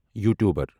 YouTuber